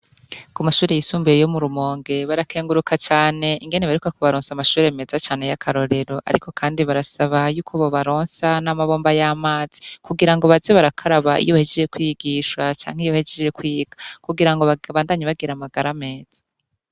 Ku mashure yisumbuye yo mu rumonge barakenguruka cane ingene barikwa kubaronsa amashure meza cane y'akarorero, ariko, kandi barasaba yuko bo baronsa n'amabomba y'amazi kugira ngo bazi barakaraba iyo hejeje kwigisha canke iyo hejeje kwiga kugira ngo bagabandanye bagira amagara ameza.